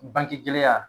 Bangegɛlɛya